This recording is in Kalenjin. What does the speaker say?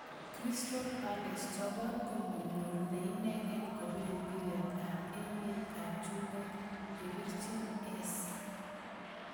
Crystal Palace chobot komonyor neingen kopir mbiret ab emer ab chumbek Eberechi Eze.